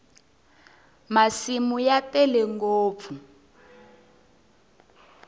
masimu ya tele ngopfu